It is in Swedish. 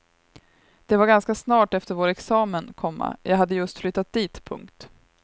Det var ganska snart efter vår examen, komma jag hade just flyttat dit. punkt